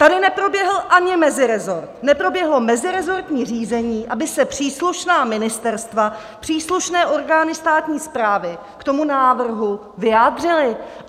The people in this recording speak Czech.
Tady neproběhl ani meziresort, neproběhlo meziresortní řízení, aby se příslušná ministerstva, příslušné orgány státní správy k tomu návrhu vyjádřily.